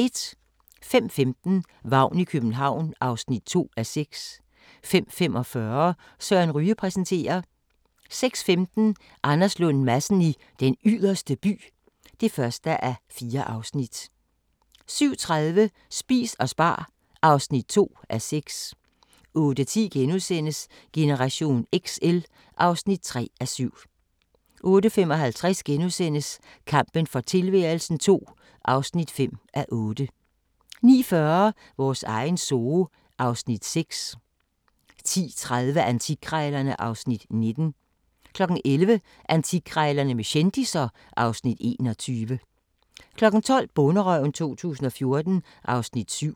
05:15: Vagn i København (2:6) 05:45: Søren Ryge præsenterer 06:15: Anders Lund Madsen i Den Yderste By (1:4) 07:30: Spis og spar (2:6) 08:10: Generation XL (3:7)* 08:55: Kampen for tilværelsen II (5:8)* 09:40: Vores egen zoo (Afs. 6) 10:30: Antikkrejlerne (Afs. 19) 11:00: Antikkrejlerne med kendisser (Afs. 21) 12:00: Bonderøven 2014 (Afs. 7)